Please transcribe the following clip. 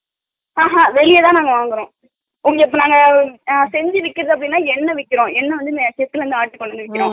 ஆஹா வெளிலதா நாங்க வாங்குறோ உங்களுக்கு நாங்க அஹ செஞ்சு விக்கும் போது எண்ணை விக்கிறோ என்னைவந்து